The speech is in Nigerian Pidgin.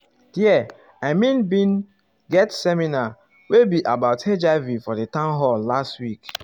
there i mean been get ah seminar wey be about hiv for di town hall last week